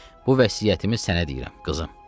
Bu vəsiyyətimi sənə deyirəm, qızım.